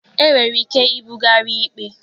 E nwere ike ibugharị ikpe.